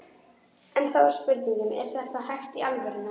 En þá er spurningin, er þetta hægt í alvörunni?